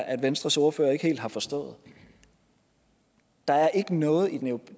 at venstres ordfører ikke helt har forstået der er ikke noget